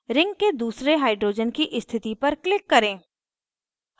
ring के दूसरे hydrogen की स्थिति पर click करें